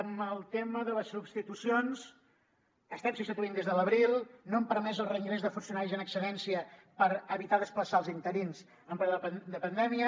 en el tema de les substitucions estem substituint des de l’abril no hem permès el reingrés de funcionaris en excedència per evitar desplaçar els interins en plena pandèmia